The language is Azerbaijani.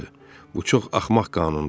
Bu çox axmaq qanundur.